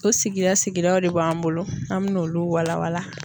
O sigida sigidaw de b'an bolo an mɛn'olu walawala.